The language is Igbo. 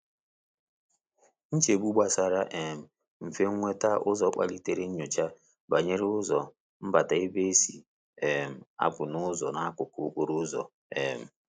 Nchegbu gbasara um mfe nweta ụzọ kpalitere nnyocha banyere ụzọ mbata ma ebe e si um a pụ na ụzọ n'akụkụ okporo ụzọ. um